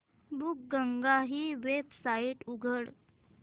बुकगंगा ही वेबसाइट उघड